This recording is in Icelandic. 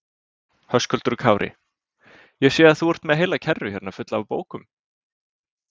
Höskuldur Kári: Ég sé að þú ert með heila kerru hérna fulla af bókum?